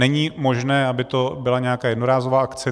Není možné, aby to byla nějaká jednorázová akce.